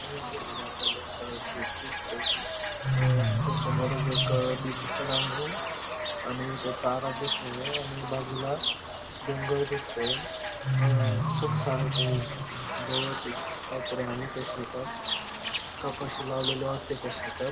या ठिकाणी आपल्याला एक शेत दिसतंय अ तिथ समोरच एक अ डी.पी. पण आहे आणि त्या तारा दिसतंय आणि बाजूला डोंगर दिसतंय अ खूप सारं ते गवत ये काहीतरी आहे त्या शेतात कपाशी लावलेली वाटतंय त्या शेतात.